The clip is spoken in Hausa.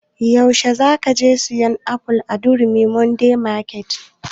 Yaushe za ka je sayan aful a durumi modern market?